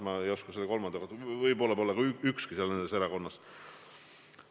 Ma ei oska kolmanda inimese kohta öelda, võib-olla pole ka tema üheski erakonnas.